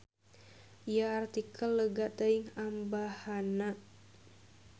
Ieu artikel lega teuing ambahanna.